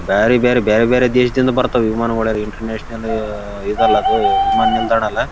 ಇಲ್ಲಿ ಆಕಾಶ ನೀಲಿ ನೇರಳೆ ಮತ್ತು ಹಸಿರು ಬಹುದು ಬಣ್ಣದಲ್ಲಿ ಕಾಣಿಸುತ್ತಿದೆ.